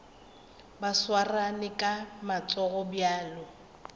ba swarane ka matsogo bjalo